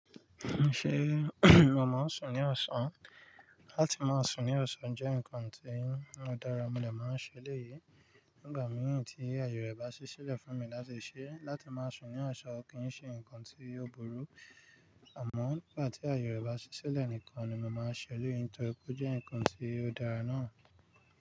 Ṣé o máa sùn ní ọ̀sán? Láti máa sùn ní ọ̀sán jẹ́ nǹkan tí ó dára, mo de máa n ṣẹlẹ̀ yìí nígbà mìíràn tí aaye rẹ̀ bá ṣi silẹ̀ fún mi láti ṣẹ. Láti máa sùn ní ọ̀sán kì í ṣe nnkan tí ó burú, àmọ́ nígbà tí aaye rẹ̀ bá ṣi silẹ̀ nìkan ni mo máa n ṣẹlẹ̀ yìí nítorí pé ó jẹ́ nǹkan tí ó dára náà.